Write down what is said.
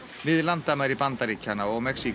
við landamæri Bandaríkjanna og Mexíkó